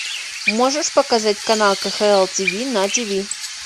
можешь показать канал кхл тиви на тиви